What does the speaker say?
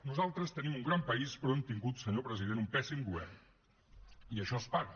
nosaltres tenim un gran país però hem tingut senyor president un pèssim govern i això es paga